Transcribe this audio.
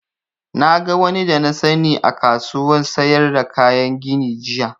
Na ga wani da na sani a kasuwan sayar da kayan gini jiya